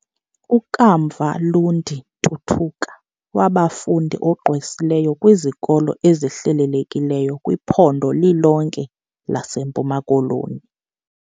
U-Kamva Lundi Ntutuka wabangumfundi ogqwesileyo kwizikolo ezihlelelekileyo kwiphondo lilonke lase mpuma koloni.